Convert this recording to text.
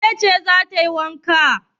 Wace ce za ta yi wanka?